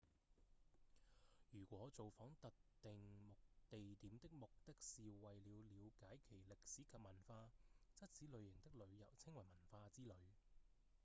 如果造訪特定地點的目的是為了瞭解其歷史及文化則此類型的旅遊稱為文化之旅